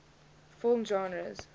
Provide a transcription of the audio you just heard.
film genres